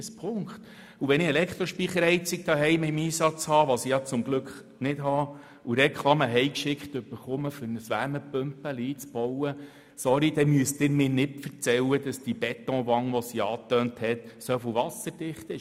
Wenn ich zuhause eine Elektrospeicherheizung im Einsatz habe, was ich zum Glück nicht habe, und Reklame für den Einbau einer kleinen Wärmepumpe nach Hause geschickt erhalte – sorry, dann müssen Sie mir nicht erzählen, dass die erwähnte Betonwand dermassen wasserdicht ist!